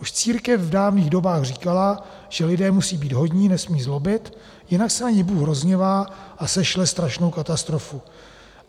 Už církev v dávných dobách říkala, že lidé musí být hodní, nesmí zlobit, jinak se na ně Bůh rozhněvá a sešle strašnou katastrofu.